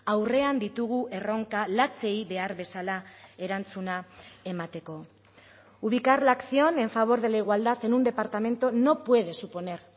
aurrean ditugu erronka latzei behar bezala erantzuna emateko ubicar la acción en favor de la igualdad en un departamento no puede suponer